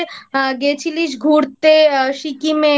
আহ গেছিলিস ঘুরতে সিকিমে